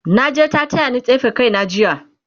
naje ta tayani tsefe kaina jiya